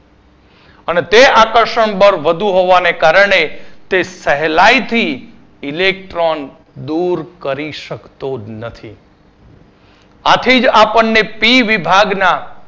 અને તે આકર્ષણ બળ વધુ હોવાના કારણે તે સહેલાઈથી electron દૂર કરી શકતો નથી. આથી જ આપણને P વિભાગના